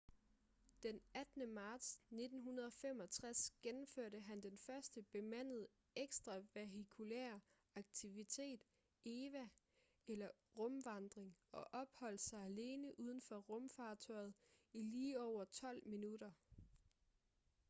den 18. marts 1965 gennemførte han den første bemandede ekstra-vehikulære aktivitet eva eller rumvandring og opholdt sig alene uden for rumfartøjet i lige over tolv minutter